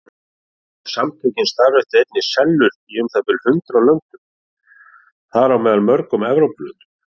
Samtökin starfræktu einnig sellur í um það bil hundrað löndum, þar á meðal mörgum Evrópulöndum.